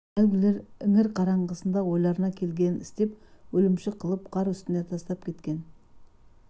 әлгілер іңір қараңғысында ойларына келгенін істеп өлімші қылып қар үстінде тастап кеткен